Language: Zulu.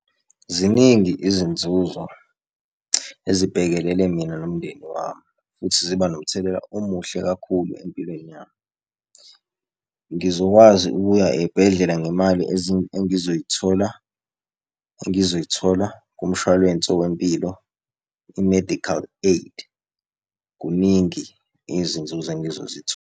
Ziningi izinzuzo ezibhekelene mina nomndeni wami futhi ziba nomthelela omuhle kakhulu empilweni yami. Ngizokwazi ukuya ey'bhedlela ngemali engizoyithola engizoyithola kumshwalense wempilo, i-medical aid. Kuningi izinzuzo engizozithola.